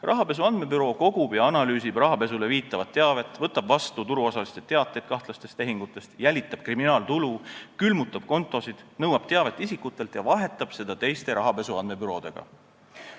Rahapesu andmebüroo kogub ja analüüsib rahapesule viitavat teavet, võtab vastu turuosaliste teateid kahtlaste tehingute kohta, jälitab kriminaaltulu, külmutab kontosid, nõuab teavet isikutelt ja vahetab seda teiste rahapesu andmebüroodega.